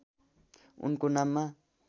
उनको नाममा